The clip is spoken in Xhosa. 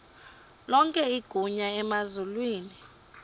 lonke igunya emazulwini